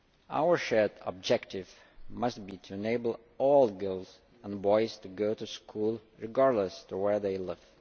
Our shared objective must be to enable all girls and boys to go to school regardless of where they live.